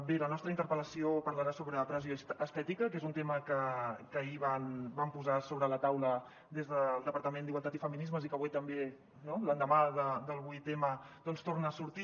bé la nostra interpel·lació parlarà sobre pressió estètica que és un tema que ahir van posar sobre la taula des del departament d’igualtat i feminismes i que avui també no l’endemà del vuit m doncs torna a sortir